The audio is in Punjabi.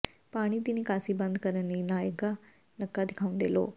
ਪਾਣੀ ਦੀ ਨਿਕਾਸੀ ਬੰਦ ਕਰਨ ਲਈ ਲਗਾਇਆ ਨੱਕਾ ਦਿਖਾਉਂਦੇ ਲੋਕ